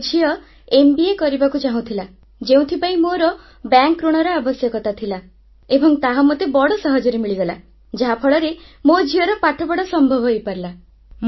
ମୋ ଝିଅ ଏମ୍ବିଏ କରିବାକୁ ଚାହୁଁଥିଲା ଯେଉଁଥିପାଇଁ ମୋର ବ୍ୟାଙ୍କଋଣର ଆବଶ୍ୟକତା ଥିଲା ଏବଂ ତାହା ମୋତେ ବଡ଼ ସହଜରେ ମିଳିଗଲା ଯାହାଫଳରେ ମୋ ଝିଅର ପାଠପଢ଼ା ସମ୍ଭବ ହୋଇପାରିଲା